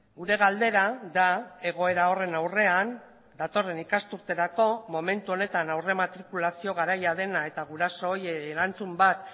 gure galdera da egoera horren aurrean datorren ikasturterako momentu honetan aurrematrikulazio garaia dena eta guraso horiek erantzun bat